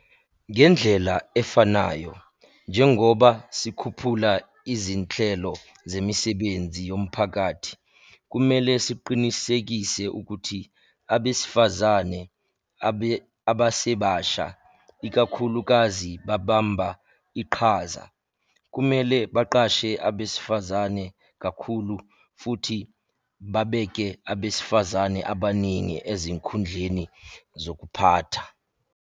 Ngendlela efanayo, njengoba sikhuphula izinhlelo zemisebenzi yomphakathi, kumele siqinisekise ukuthi abesifazane abasebasha ikakhulukazi babamba iqhaza. Kumele baqashe abesifazane kakhulu futhi babeke abesifazane abaningi ezikhundleni zokuphatha.